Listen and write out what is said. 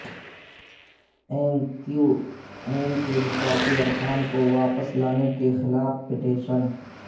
M Q M کے مستعفی ارکان کو واپس لانے کے خلاف پٹیشن